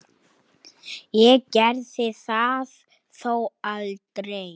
Ég gerði það þó aldrei.